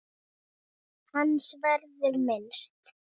Hans verður minnst.